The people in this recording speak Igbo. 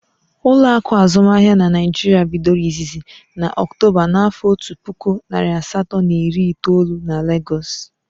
Ụlọakụ azụmahịa n'Naijiria bidoro izizi na Ọktoba na afo ọtu puku narị asatọ na iri itoolu n'Legoosu